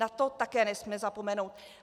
Na to také nesmíme zapomenout.